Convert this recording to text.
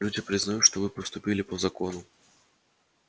люди признают что вы поступили по закону